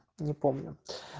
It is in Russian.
не помню